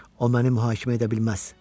O məni mühakimə edə bilməz.